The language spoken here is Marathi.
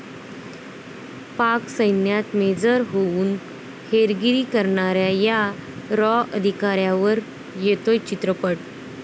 पाक सैन्यात मेजर होऊन हेरगिरी करणाऱ्या या 'रॉ' अधिकाऱ्यावर येतोय चित्रपट